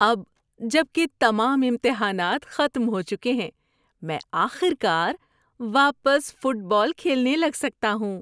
اب جب کہ تمام امتحانات ختم ہو چکے ہیں میں آخر کار واپس فٹ بال کھیلنے لگ سکتا ہوں۔